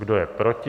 Kdo je proti?